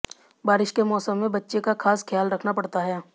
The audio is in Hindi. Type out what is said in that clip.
बारिश के मौसम में बच्चे का खास ख्याल रखना पड़ता है